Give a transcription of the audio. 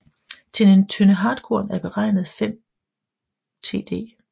Til en Tønde Hartkorn er beregnet 5 Td